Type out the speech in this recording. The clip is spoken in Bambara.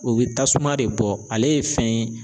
O bɛ tasuma de bɔ ale ye fɛn ye